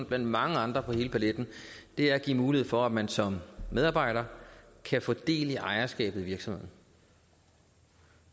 blandt mange andre på hele paletten er at give mulighed for at man som medarbejder kan få del i ejerskabet af virksomheden